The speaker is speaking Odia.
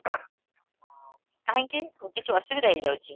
ହଁ କାହିଁକି, କିଛି ଅସୁବିଧା ହେଇ ଯାଉଛି?